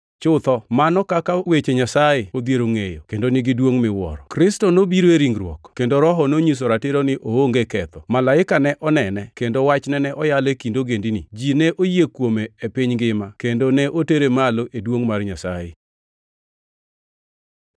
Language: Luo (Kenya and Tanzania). Chutho, mano kaka weche Nyasaye odhiero ngʼeyo kendo nigi duongʼ miwuoro: Kristo nobiro e ringruok, kendo Roho nonyiso ratiro ni oonge ketho, malaike ne onene, kendo wachne ne oyal e kind ogendini, ji ne oyie kuome e piny ngima, kendo ne otere malo e duongʼ mar Nyasaye.